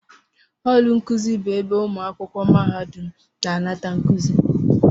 họọlụ nkuzi bụ ebe ụmụ akwụkwọ mahadum na-anata nkuzi